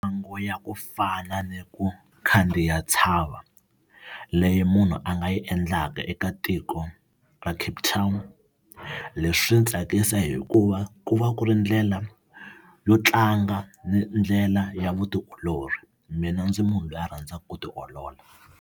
Mitlangu ya ku fana ni ku khandziya ntshava leyi munhu a nga yi endlaka eka tiko ra Cape Town leswi swi ndzi tsakisa hikuva ku va ku ri ndlela yo tlanga ndlela ya vutiolori mina ndzi munhu loyi a rhandzaka ku tiolola.